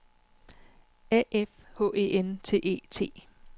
A F H E N T E T